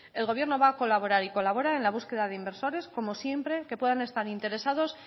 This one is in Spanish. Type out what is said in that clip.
el gobierno va a colaborar y colabora en la búsqueda de inversores como siempre que puedan estar interesados